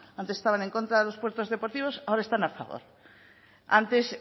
antes estaban en contra de los puertos deportivos ahora están a favor antes